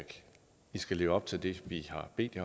de skal leve op til det vi har bedt